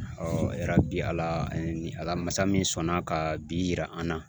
yarabi Ala ni Ala masa min sɔnna ka bi yira an na